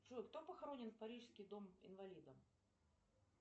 джой кто похоронен в парижский дом инвалидов